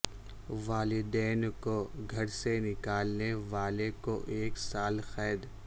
والدین کو گھر سے نکالنے والے کو ایک سال قید